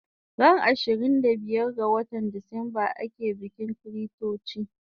Ran ishirin da biyar ga watan Decemba ake bikin chritochi